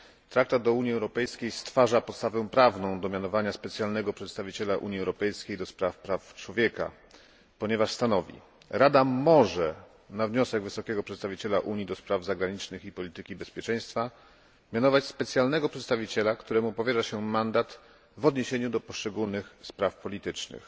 Traktat o Unii Europejskiej stwarza podstawę prawną do mianowania specjalnego przedstawiciela Unii Europejskiej do spraw praw człowieka, ponieważ stanowi Rada może, na wniosek wysokiego przedstawiciela Unii do spraw zagranicznych i polityki bezpieczeństwa mianować specjalnego przedstawiciela, któremu powierza się mandat w odniesieniu do poszczególnych spraw politycznych.